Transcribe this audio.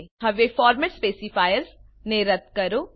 હવે format specifiers ને રદ્દ કરો